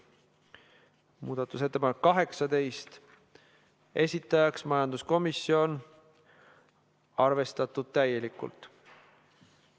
Muudatusettepanek nr 18, esitajaks majanduskomisjon, arvestatud täielikult.